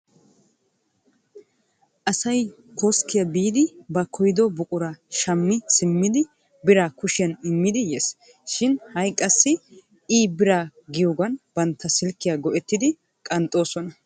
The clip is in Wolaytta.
Asay koskkiya biidi ba koyido buquraa shammi simmidi biraa kushiyan immidi yes shin ha'i qassi i_biraa giyoogan bantta silkiya go'ettidi qanxxoosona.